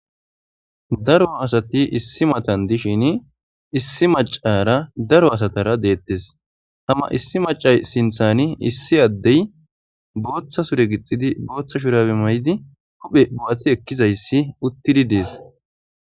Daro asati issi matani dishin issi macara daro asatara dettes ha issi macay sinththan issi adey boththa sure gixadi boththa shurabe maydi huphe bo't ekizays utidi des